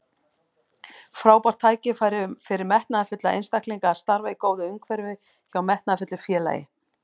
Frábært tækifæri fyrir metnaðarfulla einstaklinga að starfa í góðu umhverfi hjá metnaðarfullu félagi.